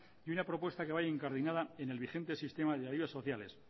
y una propuesta que vaya incardinada en el vigente sistema de ayudas sociales